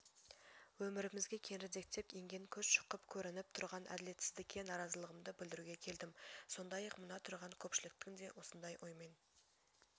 өмірімізге кеңірдектеп енген көз шұқып көрәніп тұрған әділетсіздікке наразылығымды білдіруге келдім сондай-ақ мына тұрған көпшіліктің де осындай оймен